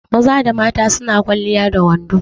Maza da mata su na kwaliya da wando.